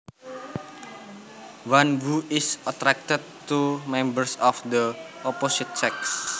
One who is attracted to members of the opposite sex